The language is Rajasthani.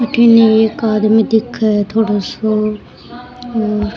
अठन एक आदमी दिखे है थोड़ो सो और --